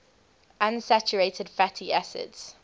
unsaturated fatty acids